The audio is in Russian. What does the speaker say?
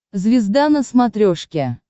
звезда на смотрешке